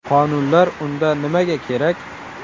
Qonunlar unda nimaga kerak?